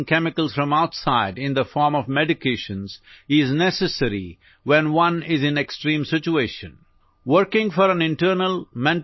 কিন্তু আমি উপলব্ধি কৰিব লাগিব যে বাহিৰৰ পৰা ৰাসায়নিক পদাৰ্থ গ্ৰহণ কৰাটো তেতিয়াহে প্ৰয়োজনীয় যেতিয়া কোনোবাই গুৰুতৰ অৱস্থাত থাকে